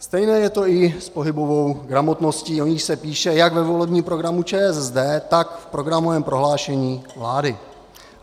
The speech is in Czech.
Stejné je to i s pohybovou gramotností, o níž se píše jak ve volebním programu ČSSD, tak v programovém prohlášení vlády.